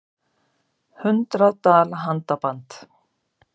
Hundrað dala handaband